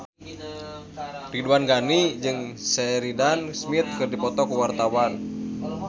Ridwan Ghani jeung Sheridan Smith keur dipoto ku wartawan